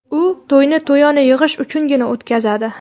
U to‘yni to‘yona yig‘ish uchungina o‘tkazadi.